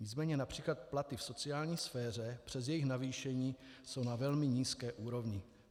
Nicméně například platy v sociální sféře přes jejich navýšení jsou na velmi nízké úrovni.